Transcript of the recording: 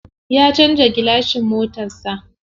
Ya canza gilashin motar sa.